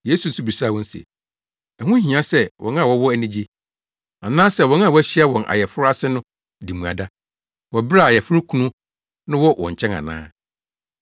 Yesu nso bisaa wɔn se, “Ɛho hia sɛ wɔn a wɔn ani agye, anaasɛ wɔn a wɔahyia wɔn ayeforo ase no di mmuada, wɔ bere a ayeforokunu no wɔ wɔn nkyɛn ana?